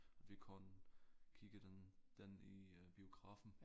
Vi kun kigger den den i biografen